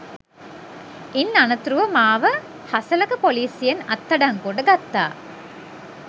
ඉන් අනතුරුව මාව හසලක ‍පොලීසියෙන් අත්අඩංගුවට ගත්තා